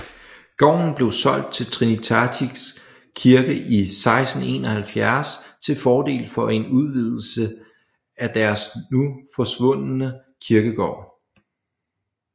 Gården blev solgt til Trinitatis Kirke i 1671 til fordel for en udvidelse af deres nu forsvundne kirkegård